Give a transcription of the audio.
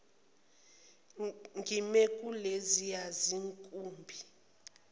ngime kuleziya zinkumbi